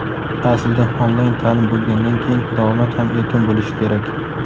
Aslida onlayn taʼlim bo‘lgandan keyin davomat ham erkin bo‘lishi kerak.